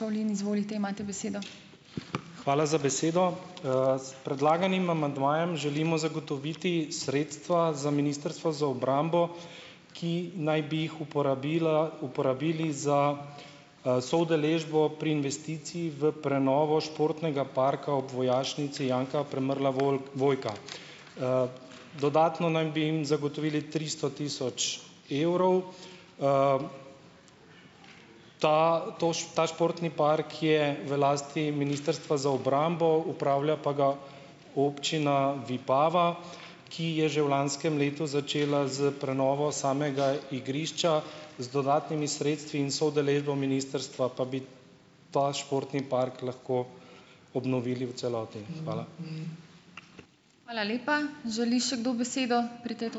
Hvala za besedo. S predlaganim amandmajem želimo zagotoviti sredstva za ministrstvo za obrambo, ki naj bi jih uporabila, uporabili za, soudeležbo pri investiciji v prenovo športnega parka ob Vojašnici Janka Premrla - Vojka. Dodatno naj bi jim zagotovili tristo tisoč evrov. Ta ta športni park je v lasti ministrstva za obrambo, upravlja pa ga občina Vipava, ki je že v lanskem letu začela s prenovo samega igrišča, z dodatnimi sredstvi in soudeležbo ministrstva pa bi ta športni park lahko obnovili v celoti. Hvala.